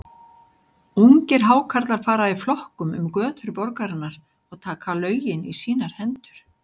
Ungir Hákarlar fara í flokkum um götur borgarinnar og taka lögin í sínar hendur.